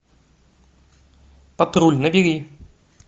патруль набери